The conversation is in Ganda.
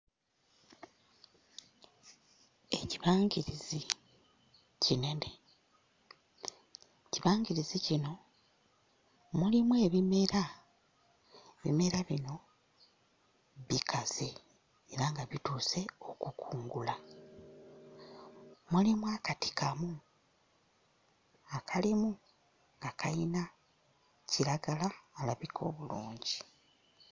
Ekibangirizi kinene, ekibangirizi kino mulimu ebimera, ebimera bino bikaze era nga bituuse okukungula, mulimu akati kamu akalimu nga kayina kiragala alabika obulungi.